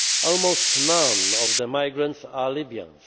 Almost none of the migrants are Libyans.